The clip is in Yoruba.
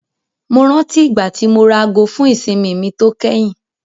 Mo rántí ìgbà tí mo ra aago fún ìsinmi mi tó kẹ́yìn.